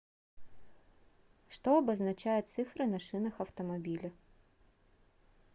что обозначают цифры на шинах автомобиля